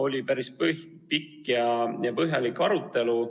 Oli päris pikk ja põhjalik arutelu.